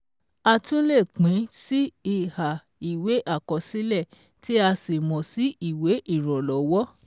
A tún lè pín sí iha ìwé àkọsílẹ̀ tí a sì mọ̀ sí ìwé ìrànlọ́wọ́